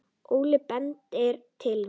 Óli bendir til mín.